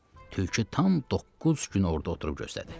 Tülkü tam doqquz gün orada oturub gözlədi.